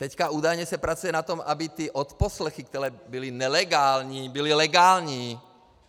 Teďka údajně se pracuje na tom, aby ty odposlechy, které byly nelegální, byly legální.